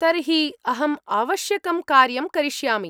तर्हि अहम्‌ आवश्यकं कार्यं करिष्यामि।